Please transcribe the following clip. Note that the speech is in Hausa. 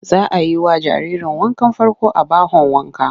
Za a yi wa jaririrn wankan farko a bahon wanka.